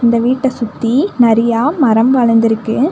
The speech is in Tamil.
இந்த வீட்ட சுத்தி நறையா மரம் வளந்துருக்கு.